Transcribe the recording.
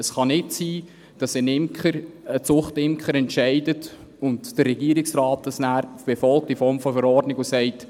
Es kann nicht sein, dass ein Zuchtimker entscheidet und der Regierungsrat das nachher in Form einer Verordnung befolgt und sagt: